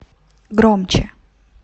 громче